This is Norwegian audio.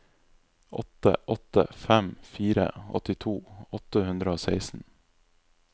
åtte åtte fem fire åttito åtte hundre og seksten